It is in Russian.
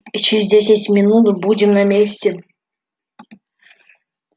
и через десять минут будем на месте